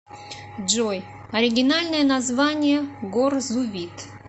джой оригинальное название горзувит